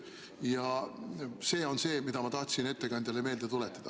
Ma tahtsin seda ettekandjale meelde tuletada.